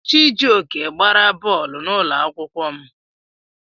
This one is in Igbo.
Chijioke gbara bọọlụ n'ụlọ akwụkwọ m.